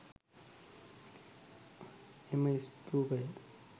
එම ස්තූපය